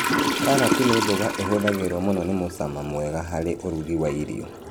Karati nĩ mboga ĩhũthagĩrwo mũno nĩ mũcama mwega harĩ ũrugi wa irio